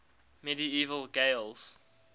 medieval gaels